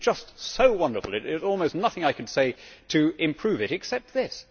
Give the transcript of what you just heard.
It is just so wonderful there is almost nothing I can say to improve it, except this.